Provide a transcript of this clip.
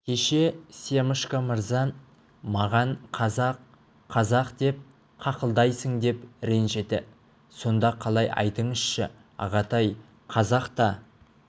кеше семашко мырза маған қазақ қазақ деп қақылдайсың деп ренжіді сонда қалай айтыңызшы ағатай қазақ та